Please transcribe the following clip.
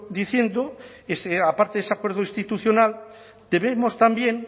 diciendo aparte de ese acuerdo institucional debemos también